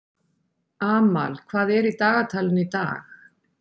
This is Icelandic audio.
Amal, hvað er í dagatalinu í dag?